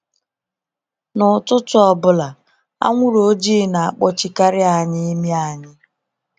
N'ụtụtụ ọbụla, anwụrụ ojiii na akpọchi karị anyị imi anyị.